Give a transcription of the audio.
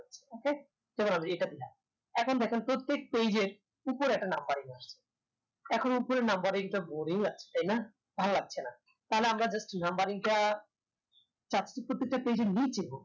okay এখন দেখেন প্রত্যেক page এর উপরে একটা numbering আসে এখন উপরের numbering টা boring লাগছে তাইনা ভাল্লাগছেনা তাইলে আমরা just numbering টা page এর নিচে হোক